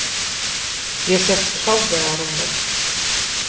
Ég sest klofvega á rúmið.